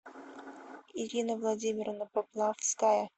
ирина владимировна поплавская